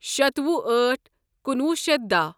شتوُہہ أٹھ کُنوُہ شیتھ دہَ